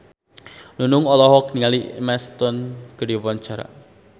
Nunung olohok ningali Emma Stone keur diwawancara